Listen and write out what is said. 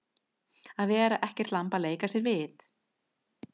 Að vera ekkert lamb að leika sér við